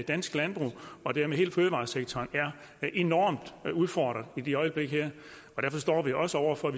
dansk landbrug og dermed hele fødevaresektoren er enormt udfordret i øjeblikket derfor står vi også over for at